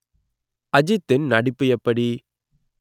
அஜித்தின் நடிப்பு எப்படி